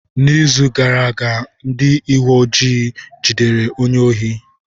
N'izu gara aga, ndị uwe ojii jidere onye ohi.